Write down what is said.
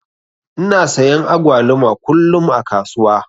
Ina sayan agwaluma kullum a kasuwa.